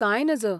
कांय नज !